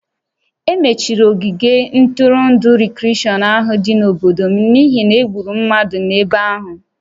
E mechiri ogige ntụrụndụ rikreshọn ahụ dị n'obodo m n'ihi na e gburu mmadụ n'ebe ahụ